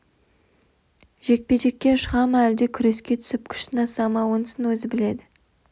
жекпе-жекке шыға ма әлде күреске түсіп күш сынаса ма онысын өзі біледі